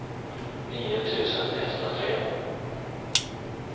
nio tusen etthundratre